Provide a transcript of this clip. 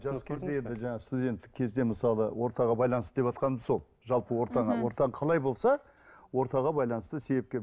жас кезде енді жаңа студенттік кезде мысалы ортаға байланысты деватқаным сол жалпы ортаға ортаң қалай болса ортаға байланысты себепкер